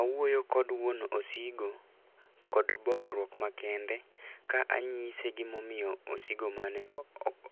Awuoyo kod wuon osigo kod bolruok makende, ka anyise gima omiyo osigo mane